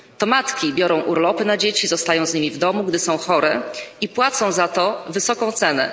To matki biorą urlopy na dzieci, zostają z nimi w domu, gdy są chore, i płacą za to wysoką cenę.